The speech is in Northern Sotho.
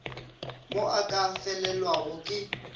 mo a ka felelwago ke